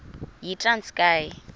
yitranskayi